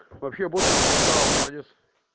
вообще боцман красава молодец